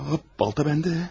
Ha, balta məndə.